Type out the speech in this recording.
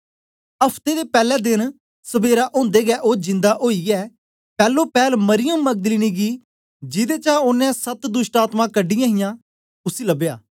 अफ्ते दे पैले देन सबेरा ओदे गै ओ जिंदा ओईए पैलोपैल मरियम मगदलीनी गी जिदे चा ओनें सत दोष्टआत्मायें कढीयां हियां उसी लबया